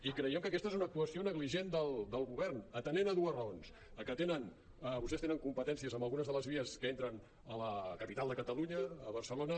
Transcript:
i creiem que aquesta és una actuació negligent del govern atenent a dues raons a que tenen vostès te·nen competències en algunes de les vies que entren a la capital de catalunya a bar·celona